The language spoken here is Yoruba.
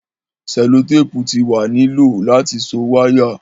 selotepu ti wa ni lo lati so waya